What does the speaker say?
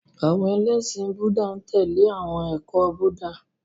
Àwọn ẹlẹ́ṣin Búúdà n tẹle awọn ẹkọ Buddha.